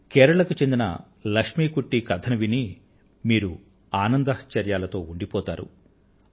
కేరళ కు చెందిన ఆదివాసి మహిళ లక్ష్మీ కుట్టి గారి కథను విని మీరు ఆనందపరవశులవుతారు